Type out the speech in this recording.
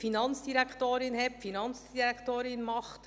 Die Finanzdirektorin hat und die Finanzdirektorin macht.